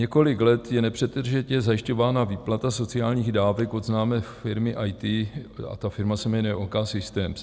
Několik let je nepřetržitě zajišťována výplata sociálních dávek od známé firmy IT a ta firma se jmenuje OKsystem.